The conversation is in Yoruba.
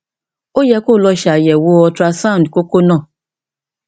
ó yẹ kó o lọ ṣe àyẹwò ultrasound kókó náà